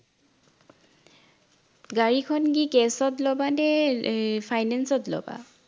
গাড়ীখন কি cash ত লবা নে এৰ finance ত লবা